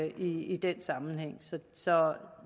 i den sammenhæng så